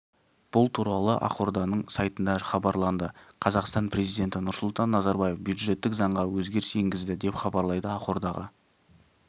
бұл туралы ақорданың сайтында хабарланды қазақстан президенті нұрсұлтан назарбаев бюджеттік заңға өзгеріс енгізді деп хабарлайды ақордаға